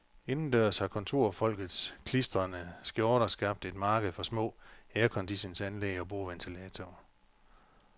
Indendørs har kontorfolkets klistrende skjorter skabt et marked for små airconditionanlæg og bordventilatorer.